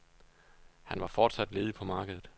Han var fortsat ledig på markedet.